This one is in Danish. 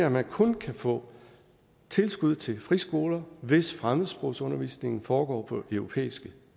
at man kun kan få tilskud til friskoler hvis fremmedsprogsundervisningen foregår på europæiske